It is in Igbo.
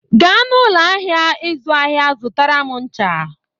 Gaa n'ụlọ ahịa ịzụ ahịa zụtara m ncha!